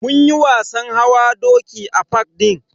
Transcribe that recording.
Munyi wasan hawa doki a fak din.